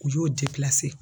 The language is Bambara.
K'u y'o